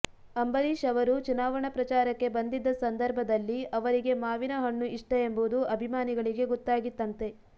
ಅಂಬರೀಶ್ ಅವರು ಚುನಾವಣಾ ಪ್ರಚಾರಕ್ಕೆ ಬಂದಿದ್ದ ಸಂದರ್ಭದಲ್ಲಿ ಅವರಿಗೆ ಮಾವಿನ ಹಣ್ಣು ಇಷ್ಟ ಎಂಬುದು ಅಭಿಮಾನಿಗಳಿಗೆ ಗೊತ್ತಾಗಿತ್ತಂತೆ